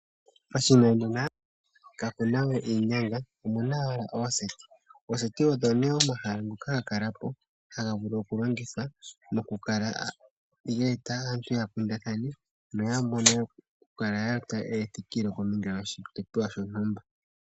Moshinanena kamunawe iinyanga omuna ooseti , ooseti odho nee omahala ngoka haga kalapo haga vulu oku longithwa geete aanhu yakundathane noyamone ethikilo kodhipopiwa shontumba